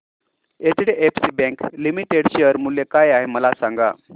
HDFC bank limited share मूल्य काय आहे मला सांगा